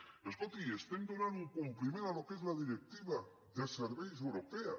però escolti estem donant un compliment al que és la directiva de serveis europea